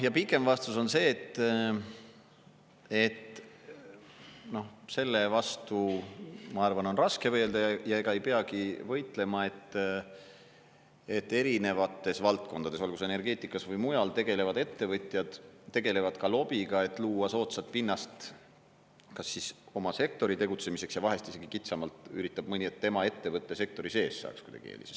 Pikem vastus on see, et selle vastu, ma arvan, on raske võidelda ja ega ei peagi võitlema, et erinevates valdkondades, olgu energeetikas või mujal tegutsevad ettevõtjad tegelevad ka lobiga, et luua soodsat pinnast kas siis oma sektoris tegutsemiseks ja vahest isegi kitsamalt üritab mõni, et tema ettevõte sektori sees saaks kuidagi eeliseid.